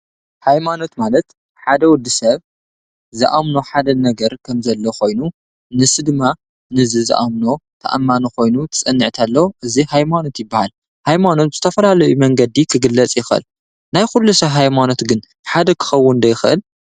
ሃይማኖት ማለት ሓደ ወዲ ሰብ ዝኣምኖ ሓደ ነገር ከም ዘሎ ኮይኑ ንሱ ድማ እዚ ዝኣምኖ ተኣማኒ ኮይኑ ክፀንዕ ከሎ ሃይማኖት ይበሃል። ሃይማኖት ድማ ብዝተፈላለዩ መንገዲ ክግለፅ ይክእል። ኩሉ ሰብ ሃይማኖቱ ግን ሓደ ክከውን ዶ ይክእል?